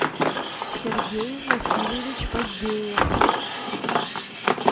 сергей васильевич поздеев